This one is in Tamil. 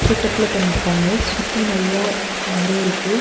செட்டப்ல பண்ணிருக்காங்க சுத்தி நெறைய மரோ இருக்கு.